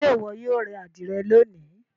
Ṣe iwọ yoo re adire loni?